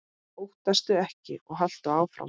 Óttastu ekki og haltu áfram!